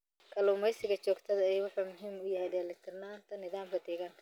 Kalluumeysiga joogtada ahi wuxuu muhiim u yahay dheelitirnaanta nidaamka deegaanka.